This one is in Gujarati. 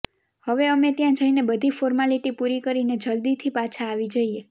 હવે અમે ત્યા જઈને બધી ફોર્માલીટી પૂરી કરીને જલ્દીથી પાછા આવી જઈએ